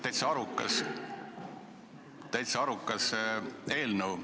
Minu meelest täitsa arukas eelnõu.